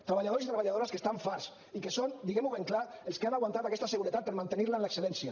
treballadors i treballadores que estan farts i que són diguem ho ben clar els que han aguantat aquesta seguretat per mantenir la en l’excel·lència